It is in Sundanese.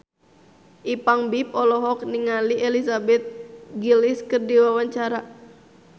Ipank BIP olohok ningali Elizabeth Gillies keur diwawancara